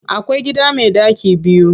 Akwai gida me ɗaki biyu.